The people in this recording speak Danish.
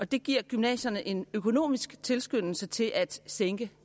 det giver gymnasierne en økonomisk tilskyndelse til at sænke